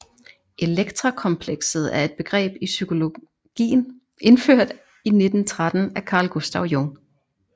Elektrakomplekset er et begreb i psykologien indført i 1913 af Carl Gustav Jung